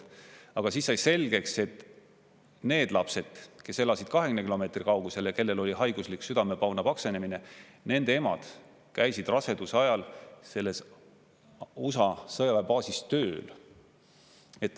Aga siis sai selgeks, et need lapsed, kes elasid 20 kilomeetri kaugusel ja kellel oli haiguslik südamepauna paksenemine, nende emad käisid raseduse ajal selles USA sõjaväebaasis tööl.